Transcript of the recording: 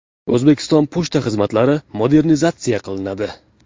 O‘zbekiston pochta xizmatlari modernizatsiya qilinadi.